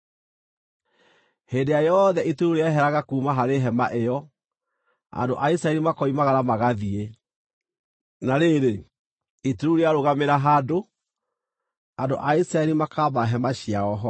Hĩndĩ ĩrĩa yothe itu rĩu rĩeheraga kuuma harĩ hema ĩyo, andũ a Isiraeli makoimagara magathiĩ; na rĩrĩ, itu rĩu rĩarũgamĩra handũ, andũ a Isiraeli makaamba hema ciao ho.